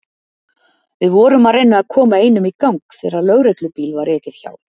Við vorum að reyna að koma einum í gang þegar lögreglubíl var ekið hjá.